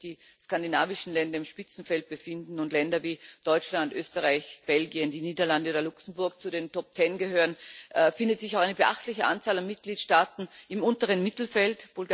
Denn während sich die skandinavischen Länder im Spitzenfeld befinden und Länder wie Deutschland, Österreich, Belgien, die Niederlande oder Luxemburg zu den Top Ten gehören, findet sich auch eine beachtliche Anzahl von Mitgliedstaaten im unteren Mittelfeld.